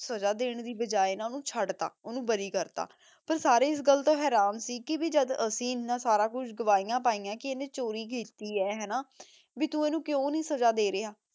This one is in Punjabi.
ਸਜ਼ਾ ਦਿਨ ਦੀ ਬਾਜੀ ਨਾ ਓਨੁ ਚੜ ਤਾ ਓਨੁ ਬਾਰੀ ਕਰ ਤਾ ਪਰ ਸਾਰੇ ਏਸ ਗਲ ਤੋਂ ਹੇਰਾਂ ਸੀ ਕੇ ਭੀ ਜਦ ਅਸੀਂ ਏਨਾ ਸਾਰਾ ਕੁਛ ਦੁਹੈਯਾਂ ਪੈਯਾਂ ਕੇ ਏਨੇ ਚੋਰੀ ਕੀਤੀ ਆਯ ਹਾਨਾ ਭੀ ਤੂ ਏਨੁ ਕ੍ਯੂ ਨਹੀ ਸਜ਼ਾ ਦੇ ਰਿਹਾ